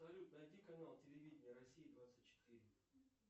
салют найди канал телевидение россия двадцать четыре